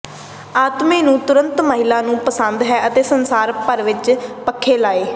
ਆਤਮੇ ਨੂੰ ਤੁਰੰਤ ਮਹਿਲਾ ਨੂੰ ਪਸੰਦ ਹੈ ਅਤੇ ਸੰਸਾਰ ਭਰ ਵਿੱਚ ਪੱਖੇ ਲਏ